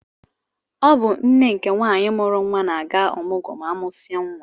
Ọ bụ nne nke nwaanyị mụrụ nwa na-aga ọmụgwọ ma amụsia nwa.